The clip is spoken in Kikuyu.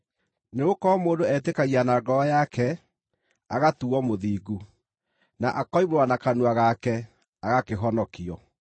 Nĩgũkorwo mũndũ etĩkagia na ngoro yake, agatuuo mũthingu, na akoimbũra na kanua gake, agakĩhonokio.